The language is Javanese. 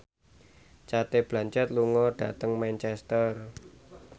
Cate Blanchett lunga dhateng Manchester